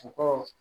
U ko